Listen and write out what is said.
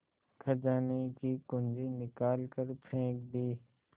खजाने की कुन्जी निकाल कर फेंक दी